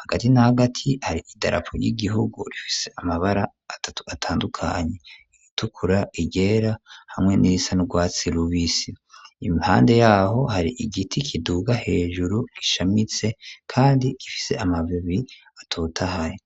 hagati na hagati hari idarapo ry'igihugu, rifise amabara atatu atandukanye: iritukura, iryera hamwe n'irisa n'urwatsi rubisi; impande y'aho hari igiti kiduga hejuru, gishamitse kandi gifise amababi atotahaye.